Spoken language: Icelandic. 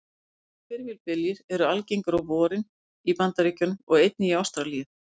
Öflugir hvirfilbyljir eru algengir á vorin í Bandaríkjunum og einnig í Ástralíu.